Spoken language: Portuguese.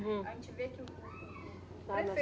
A gente vê que o, o, o, o